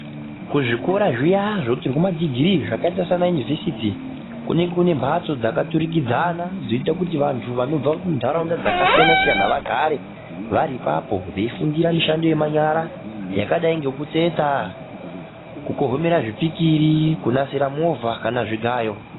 Kuzvikora zviya zvotorwa madhigirii zvakaita sana univhesiti ,kune kunembatso dzakaturikidzana dzoita kuti vantu vanobva mundaraunda dzakasiyana siyana vagare vari ipapo veifundira mishando yemanyara yakadai ngekutsetsa, kukohomera zvipikiri, kunasire movha kana zvigayo .